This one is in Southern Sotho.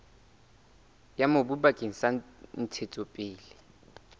ya mobu bakeng sa ntshetsopele